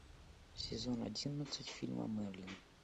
сезон одиннадцать фильма мерлин